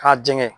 K'a jɛngɛ